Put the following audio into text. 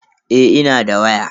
Eh ina da waya.